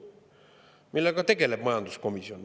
Millega tegeleb komisjon?